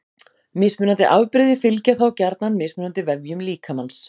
Mismunandi afbrigði fylgja þá gjarnan mismunandi vefjum líkamans.